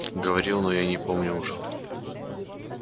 говорил но я не помню уже